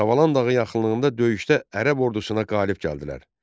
Savalan dağı yaxınlığında döyüşdə Ərəb ordusuna qalib gəldilər.